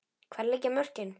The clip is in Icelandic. Hvar liggja mörkin?